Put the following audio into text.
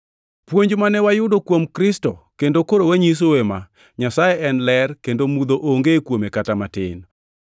Puonj mane wayudo kuom Kristo kendo koro wanyisou ema: Nyasaye en ler, kendo mudho onge kuome kata matin.